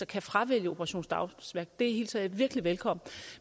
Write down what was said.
kan fravælge operation dagsværk det hilser jeg virkelig velkommen